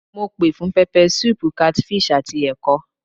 Mo pè fún pepper soup, catfish àti ẹ̀kọ.